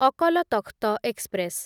Akal Takht express